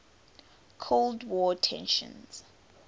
cold war tensions